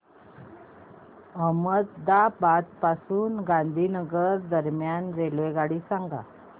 अहमदाबाद पासून गांधीनगर दरम्यान रेल्वेगाडी सांगा